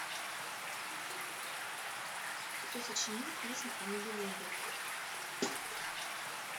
кто сочинил песнь о нибелунгах